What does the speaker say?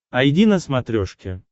айди на смотрешке